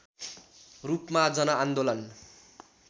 रूपमा जनआन्दोलन